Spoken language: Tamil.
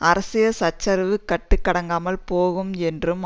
அரசியல் சச்சரவு கட்டுக்கடங்காமல் போகும் என்றும்